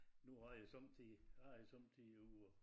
Nu har jeg sommetider jeg er sommetider ude og